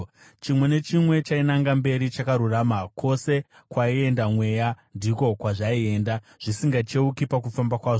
Chimwe nechimwe chainanga mberi chakarurama. Kwose kwaienda mweya, ndiko kwazvaienda, zvisingacheuki pakufamba kwazvo.